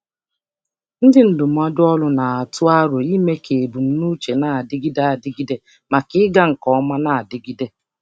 Ndị ndụmọdụ ọrụ na-atụ aro ime ka ebumnuche na-adịgide adịgide maka ịga nke ọma na-adigide.